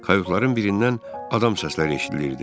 Kayotların birindən adam səsləri eşidilirdi.